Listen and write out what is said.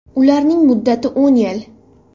Ularning muddati o‘n yil.